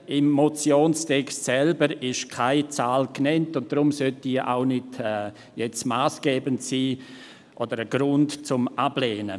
Im Motionstext selbst wird keine Zahl genannt, deshalb sollte diese auch kein Ablehnungsgrund sein.